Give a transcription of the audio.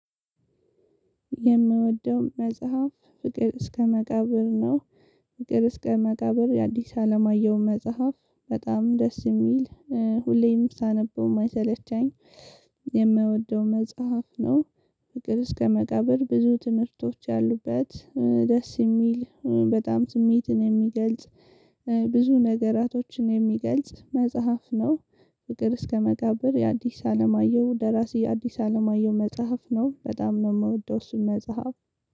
የምወደው መጽሐፍ ፍቅር እስከ መቃብር ነው። ፍቅር እስከ መቃብር የአዲስ አለማየሁ መጽሐፍ በጣም ደስ የሚል ሁሌም ሳነበው የማይሰለቸኝ። የምወደው መጽሐፍ ነው ፍቅር እስከ መቃብር ብዙ ትምህርቶች ያሉበት ደስ የሚል በጣም ስሜቴን የሚገልጽ። ብዙ ነገራቶችን የሚገልጽ መጽሐፍ ነው። ፍቅር እስከ መቃብር የአዲስ አለማየሁ ደራሲ የአዲስ አለማየሁ መጽሐፍ ነው በጣም ነው የምወደው እሱን መጽሐፍ።